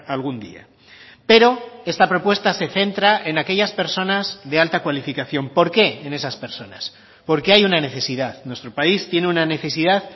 algún día pero esta propuesta se centra en aquellas personas de alta cualificación por qué en esas personas porque hay una necesidad nuestro país tiene una necesidad